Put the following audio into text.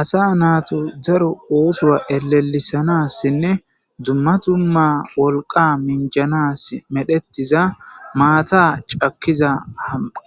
Asa nattas daaro osso ellelisanas dumma dumma mishsha minjjanas maata caakiza